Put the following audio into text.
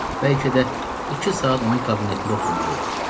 Bəlkə də iki saat onun kabinetində oturmalı oldum.